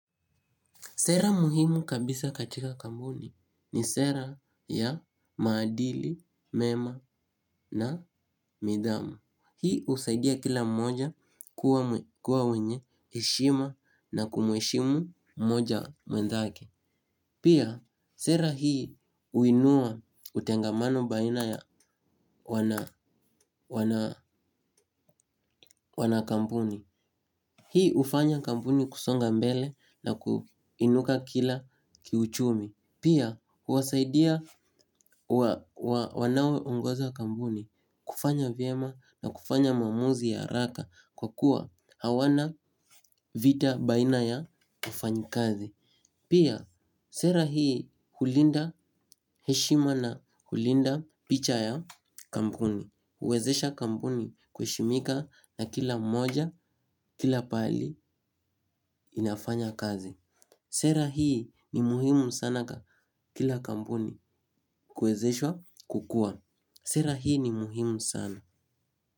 Sera muhimu kabisa katika kampuni ni sera ya maadili mema na nidhamu. Hii husaidia kila mmoja kuwa mwenye heshima na kumheshimu mmoja mwenzake. Pia sera hii huinua utengamano baina ya wana kampuni. Hii hufanya kampuni kusonga mbele na kuinuka kila kiuchumi. Pia, huwasaidia wanaoongoza kampuni kufanya vyema na kufanya maamuzi haraka kwa kuwa hawana vita baina ya wafanyikazi. Pia, sera hii hulinda heshima na kulinda picha ya kampuni. Huwezesha kampuni kuheshimika na kila mmoja, kila pahali inafanya kazi. Sera hii ni muhimu sana kwa kila kampuni kuwezeshwa kukuwa. Sera hii ni muhimu sana.